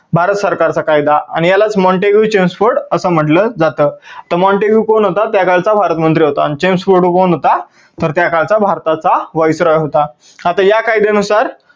भारत सरकार चा कायदा आणि यालाच montagu chelmsford अस म्हटलं जात. तर Montagu कोण होता त्या काळचा भारत मंत्री होता आणि Chelmsford कोण होता तर त्या काळचा भारताचा viceroy होता. आता या कायद्या नुसार